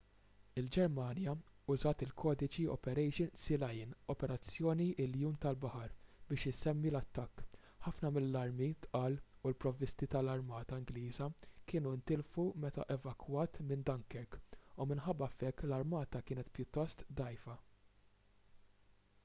il-ġermanja użat il-kodiċi operation sealion” operazzjoni iljun tal-baħar biex isemmi l-attakk. ħafna mill-armi tqal u l-provvisti tal-armata ingliża kienu ntilfu meta evakwat minn dunkirk u minħabba f’hekk l-armata kienet pjuttost dgħajfa